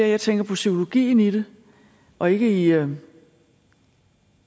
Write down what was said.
jeg tænker på psykologien i det og ikke i at en